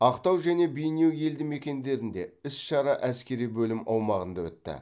ақтау және бейнеу елдімекендерінде іс шара әскери бөлім аумағында өтті